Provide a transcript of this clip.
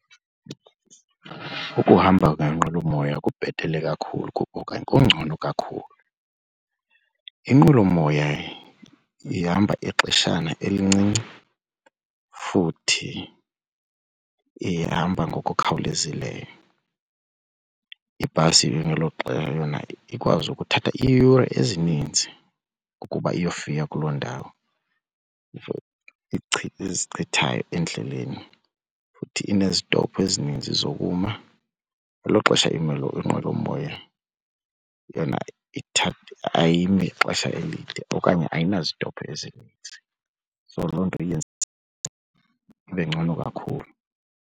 Ukuhamba ngenqwelomoya kubhetele kakhulu kuba okanye kungcono kakhulu. Inqwelomoya ihamba ixeshana elincinci futhi ihamba ngokukhawulezileyo. Ibhasi ngelo xesha yona ikwazi ukuthatha iiyure ezininzi ukuba iyofika kuloo ndawo ezichithayo endleleni futhi inezitophu ezininzi zokuma. Ngelo xesha inqwelomoya yona ayimi ixesha elide okanye ayinazitophu ezininzi so loo nto iyenze ibe ngcono kakhulu.